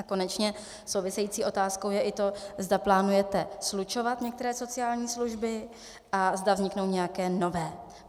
A konečně související otázkou je i to, zda plánujete slučovat některé sociální služby a zda vzniknou nějaké nové.